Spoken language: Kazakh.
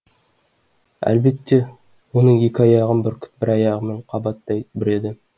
әлбетте оның екі аяғын бүркіт бір аяғымен қабаттай бүреді